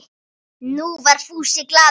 Nú var Fúsi glaður.